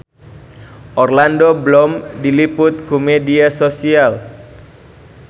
Orlando Bloom diliput ku media nasional